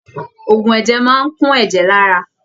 Ògùn ẹ̀jẹ̀ máa kún ẹ̀jẹ̀ l'ara.